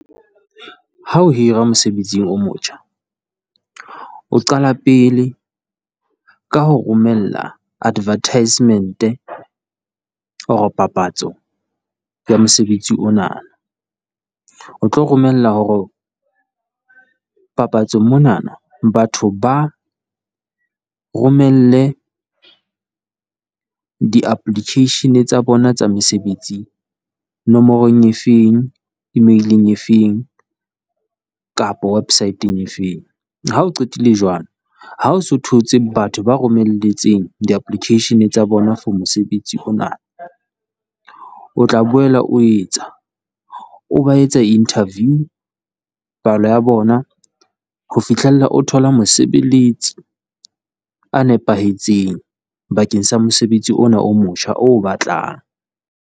Ha o hira mosebetsing o motjha, o qala pele ka ho romella advertisement or papatso ya mosebetsi ona. O tlo romela hore papatsong monana batho ba romelle di-application tsa bona tsa mesebetsing nomorong efeng, email efeng, kapa website efeng. Ha o qetile jwalo ha o so thotse batho ba romelletseng di-application tsa bona for mosebetsi ona. O tla boela o etsa, o ba etsa interview, palo ya bona ho fihlella o thola mosebeletsi ya nepahetseng bakeng sa mosebetsi ona o motjha oo o batlang.